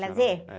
Lazer?.